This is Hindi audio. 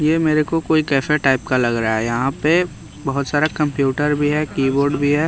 ये मेरे को कोई कैफे टाइप का लग रहा है यहाँ पे बहुत सारा कंप्यूटर भी है कीबोर्ड भी है।